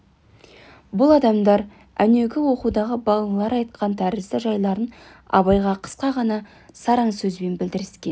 бұл адамдар әнеугі оқудағы балалары айтқан тәрізді жайларын абайға қысқа ғана сараң сөзбен білдіріскен